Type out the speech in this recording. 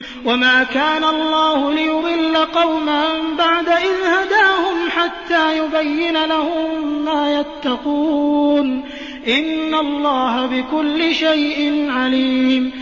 وَمَا كَانَ اللَّهُ لِيُضِلَّ قَوْمًا بَعْدَ إِذْ هَدَاهُمْ حَتَّىٰ يُبَيِّنَ لَهُم مَّا يَتَّقُونَ ۚ إِنَّ اللَّهَ بِكُلِّ شَيْءٍ عَلِيمٌ